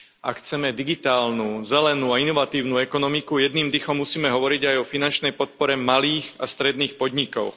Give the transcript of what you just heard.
Ak chceme digitálnu, zelenú a inovatívnu ekonomiku, jedným dychom musíme hovoriť aj o finančnej podpore malých a stredných podnikov.